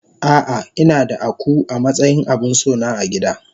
Ah ah inada Akuu amatsayin abinsona agida.